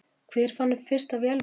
Hver fann upp fyrsta vélmennið?